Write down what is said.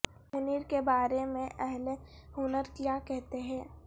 منیر کے بارے میں اہل ہنر کیا کہتے ہیں